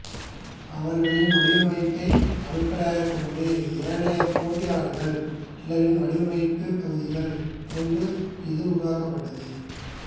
அவர்களின் வடிவமைப்பை அடிப்படையாகக் கொண்டு ஏனைய போட்டியாளர்கள் சிலரின் வடிவமைப்பு பகுதிகளைக் கொண்டு இது உருவாக்கப்பட்டது